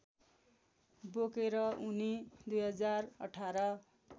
बोकेर उनी २०१८